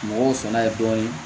Mɔgɔw sɔnna dɔɔnin